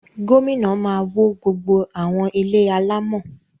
Gómìnà máa wó gbogbo àwọn ilé alámọ̀